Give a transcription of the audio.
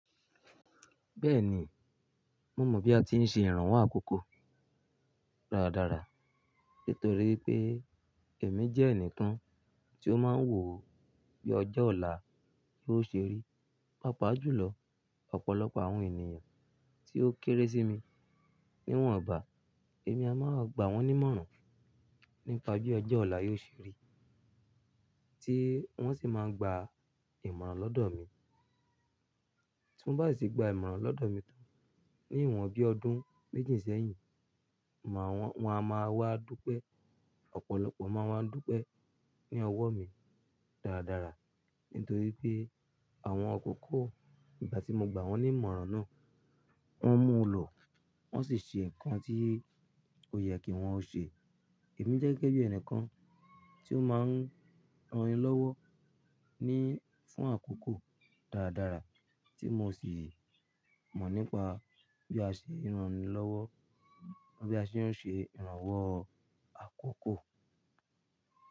Bẹ́ẹ̀ni, mo mọ̀ bí a ti ń ṣe ìrànwọ́ àkókò dáradára nítorí pé èmi jẹ́ ẹnìkan tí ó máa ń wò bí ọjọ́ ọ̀la yóò ṣe rí. Pápá jù lọ, ọ̀pọ̀lọpọ̀ àwọn ènìyàn tí ó kéré sí mi, niwọ́nbá, èmi a máa gba wọ́n nímọ̀ràn nípa bí ọjọ́ ọ̀la yóò ṣe rí, tí wọ́n sì máa gba ìmọ̀ràn lọ́dọ̀ mi. Tí wọ́n bá sì gba ìmọ̀ràn lọ́dọ̀ mi tán ní ìwọ̀n bí ọdún méjì sẹ́yìn, máa wọ́n, wọn a máa wá dúpẹ́. Ọ̀pọ̀lọpọ̀ máa wá dúpẹ́ ní ọwọ́ mi dáradára nítorí pé àwọn akòkó ìgbà tí mo gba wọ́n nímọ̀ràn náà, wọ́n mú lọ, wọ́n sì ṣe ǹkan tí ò yẹ kí wọ́n ó ṣe. Èmi jẹ́ gẹ́gẹ́ bí ẹnìkan tí ó máa ń rán ni lọ́wọ́ ní fún àkókò dáradára tí mo sì mọ̀ nípa bí a ṣe ń rán ni lọ́wọ́ bí a ṣe ń ṣe ìrànwọ́ àkókò.